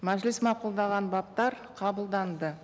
мәжіліс мақұлдаған баптар қабылданды